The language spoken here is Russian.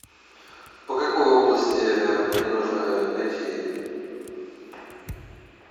по какой области мне нужно найти